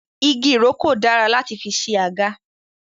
Igi ìrókò dára láti fi ṣe àga